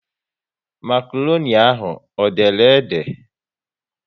Makroni ahụ ọ dere ede?